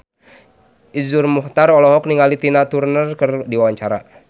Iszur Muchtar olohok ningali Tina Turner keur diwawancara